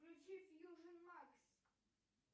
включи фьюжн макс